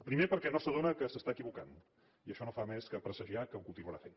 pri·mer perquè no s’adona que s’està equivocant i això no fa més que presagiar que ho continuarà fent